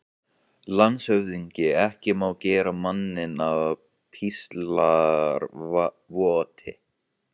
LANDSHÖFÐINGI: Ekki má gera manninn að píslarvotti.